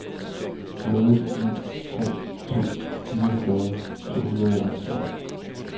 nul ni tre to fireogfyrre to hundrede og halvfjerds